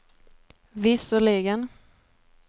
visserligen